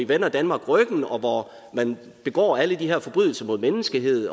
vender danmark ryggen og hvor man begår alle de her forbrydelser mod menneskeheden